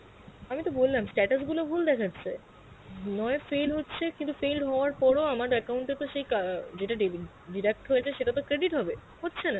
আমি তো বললাম status গুলো ভুল দেখাচ্ছে, নয় fail হচ্ছে কিন্তু failed হাওয়ার পর ও আমার account এ তো সেই ক~ যেটা debit~ deduct হয়েছে সেটাতো credit হবে, হচ্ছে না